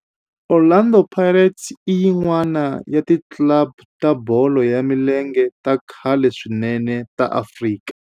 Orlando Pirates i yin'wana ya ti club ta bolo ya milenge ta khale swinene ta Afrika.